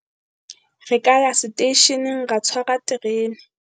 re ka ya seteisheneng ra tshwara terene.